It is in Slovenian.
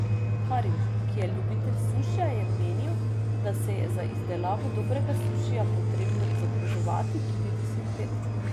Karim, ki je ljubitelj sušija, je menil, da se je za izdelavo dobrega sušija potrebno izobraževati tudi deset let.